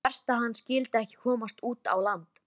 Álfrún, hvaða vikudagur er í dag?